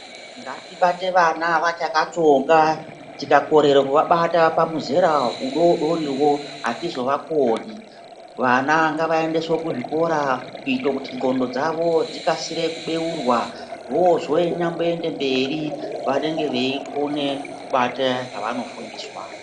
Ngatibate vana vachakatsonga, tikakorere kuvabata pamuzera udodoriwoko hatizovakoni. Vana ngavaendeswe kuzvikora kuite kuti ndxondo dzavo dzikase kubeurwa vozonyamboende mberi vanenge veikone kubate zvevanofundiswa.